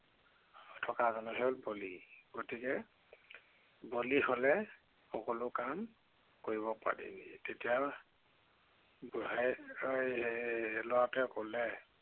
থকা জনহে বলি। গতিকে, বলি হলে সকলো কাম কৰিব পাৰিবি। তেতিয়া বুঢ়াই এৰ লৰাটোৱে কলে